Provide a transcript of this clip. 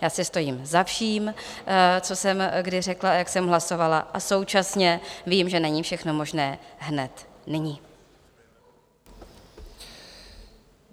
Já si stojím za vším, co jsem kdy řekla a jak jsem hlasovala, a současně vím, že není všechno možné hned, nyní.